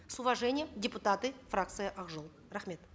с уважением депутаты фракции ак жол рахмет